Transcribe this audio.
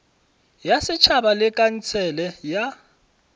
ya setšhaba le khansele ya